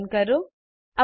તરીકે પસંદ કરો